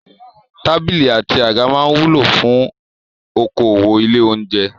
Tábìlì àti àga máa wúlò fún okòwò ilé-oúnjẹ.